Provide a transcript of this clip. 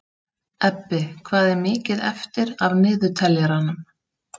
Ebbi, hvað er mikið eftir af niðurteljaranum?